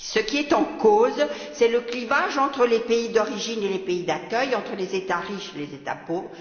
Ce qui est en cause, c'est bien le clivage entre les pays d'origine et les pays d'accueil, entre les États riches et les États pauvres.